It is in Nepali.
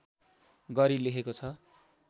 गरी लेखेको छ